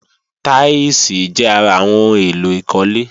Táílsìì jẹ́ ara àwọn ohun èlò ìkólé